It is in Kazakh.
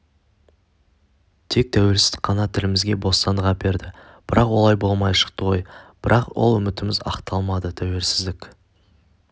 тек тәуелсіздік қана тілімізге бостандық әперді бірақ олай болмай шықты ғой бірақ ол үмітіміз ақталмады тәуелсіздік